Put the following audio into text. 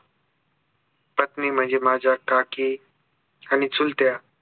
पत्नी म्हणजे माझ्या काकी आणि चुलत्या